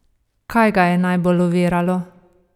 Kaj ga je najbolj oviralo?